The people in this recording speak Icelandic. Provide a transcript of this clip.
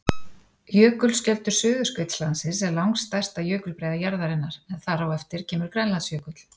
Jökulskjöldur Suðurskautslandsins er langstærsta jökulbreiða jarðarinnar en þar á eftir kemur Grænlandsjökull.